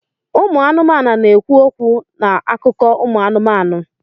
Ụmụ anụmanụ na-ekwu okwu na akụkọ ụmụ anụmanụ.